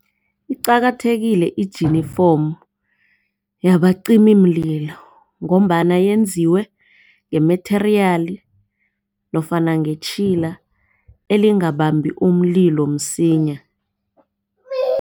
Iqakathekile ijinifomu yabacimimlilo ngombana yenziwe nge-material nofana ngetjhila elingabambi umlilo msinya.